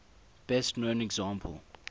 best known example